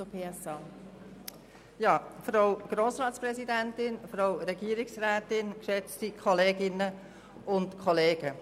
Ich erteile Frau Grossrätin Fuhrer für die SP-JUSO-PSA-Fraktion das Wort.